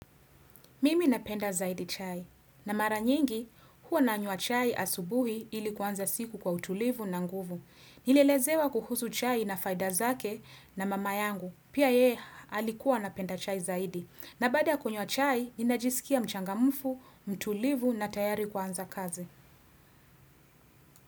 Mimi napenda zaidi chai. Na mara nyingi, huwa nanywa chai asubuhi ili kuanza siku kwa utulivu na nguvu. Nilielezewa kuhusu chai na faida zake na mama yangu. Pia yeye alikuwa anapenda chai zaidi. Na baada ya kunywa chai, ninajiskia mchangamfu, mtulivu na tayari kuanza kazi.